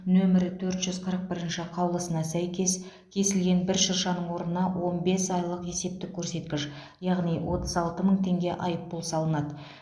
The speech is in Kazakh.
нөмір төрт жүз қырық бірінші қаулысына сәйкес кесілген бір шыршаның орнына он бес айлық есептік көрсеткіш яғни отыз алты мың теңге айыппұл салынады